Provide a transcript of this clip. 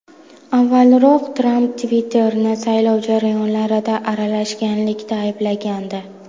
Avvalroq Tramp Twitter’ni saylov jarayonlariga aralashganlikda ayblagandi .